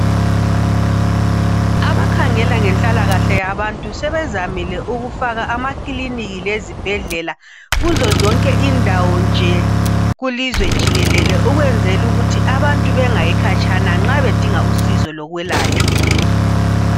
Abakhangela ngenhlalakahle yabantu sebezamile ukufaka amakilinika lezibhedlela kuzozonke indawo nje kulizwe jikelele ukuze abantu bengayi khatshana nxa bedinga usizo lokwelatshwa